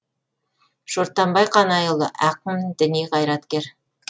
шортанбай қанайұлы ақын діни қайраткер